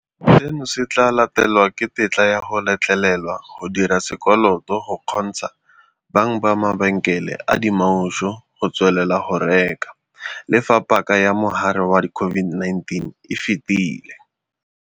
"Seno se tla latelwa ke tetla ya go letlelelwa go dira sekoloto go kgontsha bang ba mabenkele a dimaushu go tswelela go reka, le fa paka ya mogare wa COVID-19 e fetile."